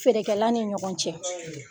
Feerela ni ɲɔgɔn cɛ